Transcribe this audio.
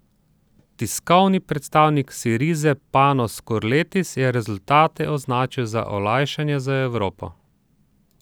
Tiskovni predstavnik Sirize Panos Skurletis je rezultate označil za olajšanje za Evropo.